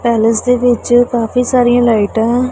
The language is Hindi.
पैलेस के नीचे काफी सारिया लाइट है।